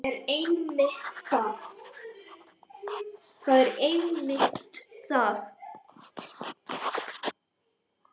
Það er einmitt það.